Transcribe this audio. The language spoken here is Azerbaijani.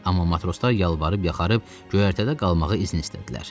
Amma matroslar yalvarıb yaxarıb göyərtədə qalmağa izin istədilər.